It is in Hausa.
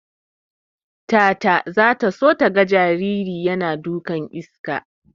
Tata zata so taga jariri yana dukan iska.